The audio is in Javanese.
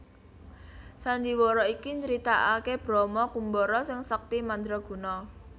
Sandhiwara iki nyritaake Brama Kumbara sing sekti mandraguna